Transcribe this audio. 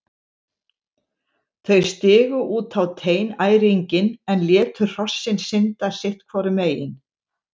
Þau stigu út á teinæringinn en létu hrossin synda sitt hvoru megin.